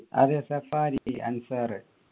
അതെ സഫാരി അൻസാറു